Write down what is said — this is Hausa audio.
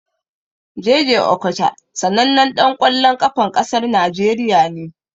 Jay jay Okocha sanannan ɗan ƙwallon ƙafan ƙasar Najeriya ne.